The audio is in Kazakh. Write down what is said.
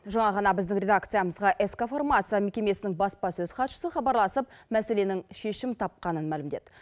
жаңа ғана біздің редакциямызға ск фармация мекемесінің баспасөз хатшысы хабарласып мәселенің шешім тапқанын мәлімдеді